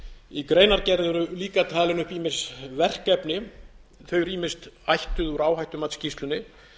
í greinargerð eru líka talin upp ýmis verkefni þau eru ýmist ættuð úr áhættumatsskýrslunni